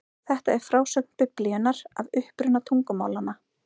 Þetta er frásögn Biblíunnar af uppruna tungumálanna.